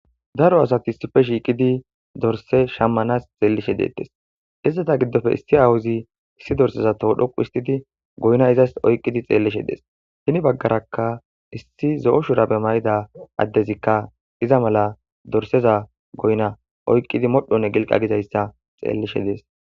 Daro asat issipe shiqid dorise shamanas xelishe detes. Izeta gidope issi awuzi issi doriseza toho dhoqu hisitid goyina oyiqid xelishe de7es. Heni bagarka issi zo7o shurabe mayida adezika iza mala doriseza goyina oyokid modhone giliqa gizayisa xelishe des.